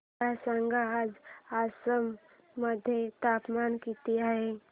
मला सांगा आज आसाम मध्ये तापमान किती आहे